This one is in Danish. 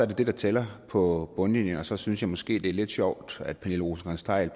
det der tæller på bundlinjen og så synes jeg måske at det er lidt sjovt at pernille rosenkrantz theil